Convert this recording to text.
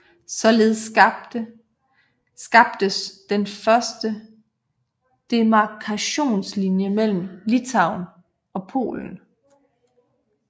Således skabtes den første demarkationslinje mellem Litauen og Polen